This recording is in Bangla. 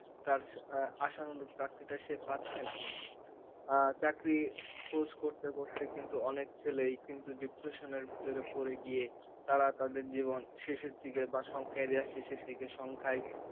তার আশানুরূপ চাকরিটা সে পাচ্ছে না আহ চাকরির course করতে করতে কিন্তু অনেক ছেলেই কিন্তু depression এর ভিতরে পড়ে গিয়ে তারা তাদের জীবন শেষের দিকে বা শঙ্কায় যা শেষের দিকে সংখ্যায়,